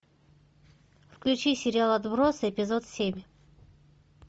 включи сериал отбросы эпизод семь